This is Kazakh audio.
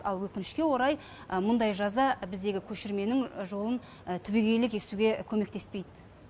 ал өкінішке орай мұндай жаза біздегі көшірменің жолын түбегейлі кесуге көмектеспейді